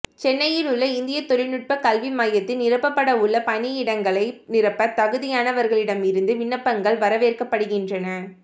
சென்னையில் உள்ள இந்திய தொழில்நுட்ப கல்வி மையத்தில் நிரப்பப்பட உள்ள பணியிடங்களை நிரப்ப தகுதியானவர்களிடமிருந்து விண்ணப்பங்கள் வரவேற்கப்படுகின்றன